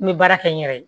N bɛ baara kɛ n yɛrɛ ye